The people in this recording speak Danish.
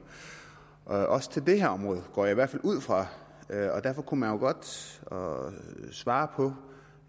og også på det her område går jeg i hvert fald ud fra og derfor kunne man jo godt svare svare på